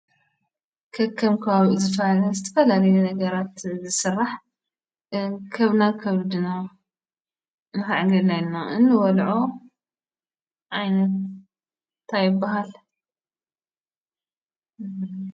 ከከም ከባቢኡ ዝፋላለን ዝተፈላለዩ ነገራት ዝሥራሕ ከብድና ንዓጌድናይና እንወልዖ ዓይነት እንታይ ይባሃል?